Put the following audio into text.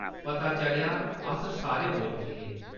पता चलेआ, अस सारे मूर्ख हे ।